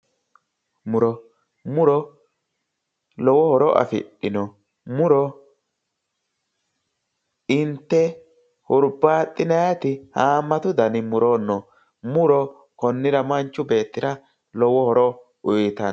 Muro. Muro lowo horo afidhino. Muro inte hurbaaxxinayiti haammatu dani muro no. Muro konnira manchi beettira lowo horo uyitanno.